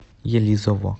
елизово